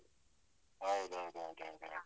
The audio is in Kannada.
ಹೌದೌದು ಹೌದೌದು ಹೌದು.